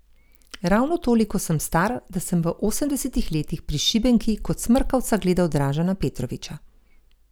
Ravno toliko sem star, da sem v osemdesetih letih pri Šibenki kot smrkavca gledal Dražena Petrovića.